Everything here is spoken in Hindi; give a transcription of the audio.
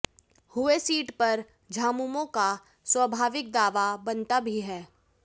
हुये सीट पर झामुमो का स्वाभावित दावा बनता भी है